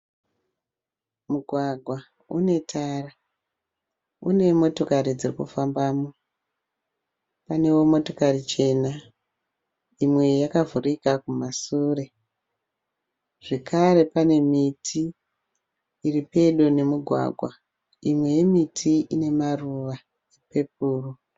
Mugwagawa une tara, une motokari dzinofambamo. Panewo motokari chena imwe yakavhurika kumasure zvakare pane miti iri pedo nemugwagwa imwe yemiti ine maruva epepuru